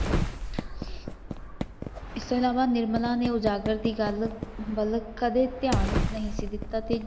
ਇਸਤੋਂ ਇਲਾਵਾ ਨਿਰਮਲ ਨੇ ਇਜਾਜਤ ਦੀ ਗੱਲ ਵੱਲ ਕਦੇ ਦੀਆਨ ਨਹੀਂ ਦਿਤਾ ਸੀ